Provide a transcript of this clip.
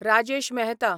Rajesh Mehta